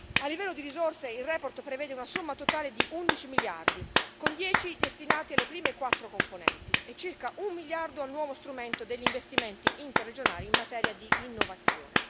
A livello di risorse, la relazione prevede una somma totale di 11 miliardi, 10 dei quali destinati alle prime quattro componenti e circa un miliardo al nuovo strumento degli investimenti interregionali in materia di innovazione.